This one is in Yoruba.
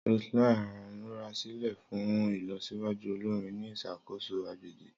Roseline n murasilẹ fun ilọsiwaju olori ni iṣakoso agbegbe.